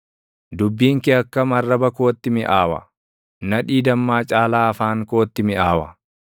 Dubbiin kee akkam arraba kootti miʼaawa; nadhii dammaa caalaa afaan kootti miʼaawa!